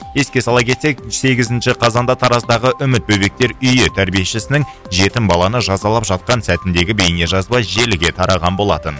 еске сала кетсек сегізінші қазанда тараздағы үміт бөбектер үйі тәрбиешісінің жетім баланы жазалап жатқан сәтіндегі бейне жазба желіге тараған болатын